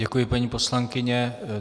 Děkuji, paní poslankyně.